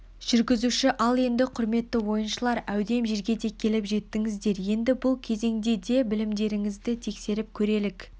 жүргізуші ал енді құрметті ойыншылар әудем жергеде келіп жеттіңіздер енді бұл кезеңде де білімдеріңізді тексеріп көрелік